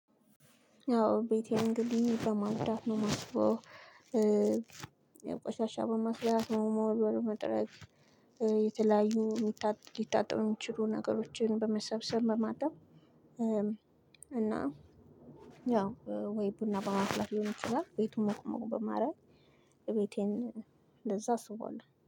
አዎ ቤቴን እንግዲህ በማጽዳት ነው። ቆሻሻ በማጽዳት ነው መወልወል መጥረግ የተለያዩ ሊታጠቡ የሚችሉ ነገሮችን በመሰብሰብ በማጣብ በማድረግ እና ያው ወይ ቡና በማፍላት ሊሆን ይችላል ቤቱን ሞቅ ሞቅ በማድረግ ቤቴን እንደዛ አስውበዋለው